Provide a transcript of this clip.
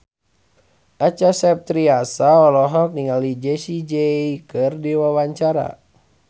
Acha Septriasa olohok ningali Jessie J keur diwawancara